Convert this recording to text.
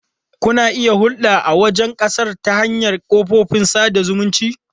Kuna iya hulɗa da wani a wajen ƙasar ta hanyar kafofin sada zumunci.